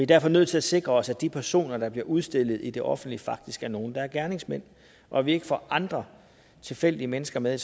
derfor nødt til at sikre os at de personer der bliver udstillet i det offentlige rum faktisk er nogle der er gerningsmænd og at vi ikke får andre tilfældige mennesker med